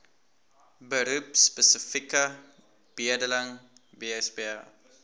beroepspesifieke bedeling bsb